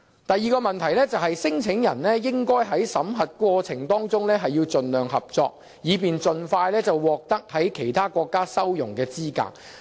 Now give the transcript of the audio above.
第二個問題，聲請人應在審核過程中盡量合作，以便盡快獲其他國家收容的資格。